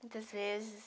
Muitas vezes...